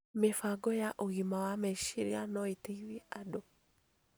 Mĩbango ya ũgima wa meciria no ĩteithie andũ